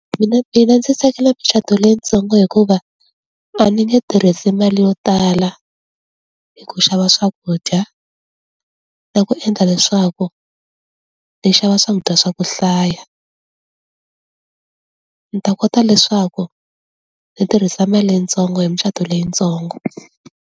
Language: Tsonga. Mina mina ndzi tsakela micato leyitsongo hikuva a ni nge tirhise mali yo tala hi ku xava swakudya na ku endla leswaku ni xava swakudya swa ku hlaya. Ni ta kota leswaku ndzi tirhisa mali yitsongo hi micato leyitsongo